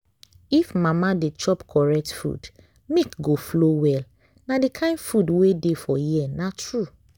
if mama dey chop correct food milk go flow well. na the kain food wey dey for here na true.